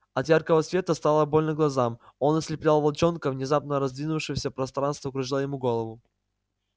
от яркого света стало больно глазам он ослеплял волчонка внезапно раздвинувшееся пространство кружило ему голову